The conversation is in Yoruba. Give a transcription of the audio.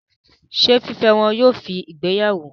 Ṣé fífẹ́ wọn yóò fi ìgbéyàwó?